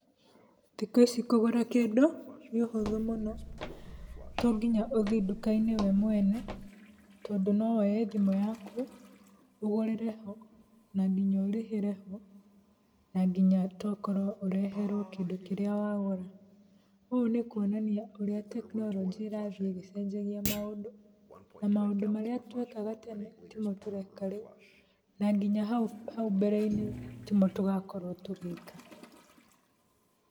Thikũ ici kũgũra kĩndũ, nĩ ũhũthũ mũno tonginya ũthiĩ nduka-inĩ we mwene, tondũ no woe thimũ yaku, ũgũrĩre ho na nginya ũrĩhĩre ho, na nginya tokorwo ũreherwo kĩndũ kĩrĩa wagũra. Ũũ nĩ kuonania ũrĩa tekinoronjĩ ĩrathiĩ ĩgĩcenjagia maũndũ na maũndũ marĩa twekaga tene timo tũreka rĩu na nginya hau mbere-inĩ timo tũgakorwo tũgĩka.